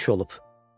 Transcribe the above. Böyük iş olub.